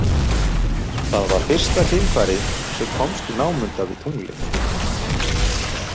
Það var fyrsta geimfarið sem komst í námunda við Tunglið.